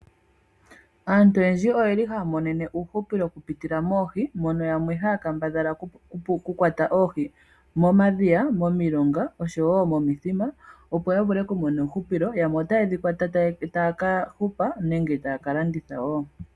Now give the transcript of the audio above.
Aantu oyendji oyeli hayamonene uuhupilo okupitila moohi mono yamwe haya kambadhala okukwata oohi momadhiya momilonga osho wo momithima opo yavule okumona uuhupilo yamwe otayedhi kwata taya kahupa nenge taya kalanditha wo.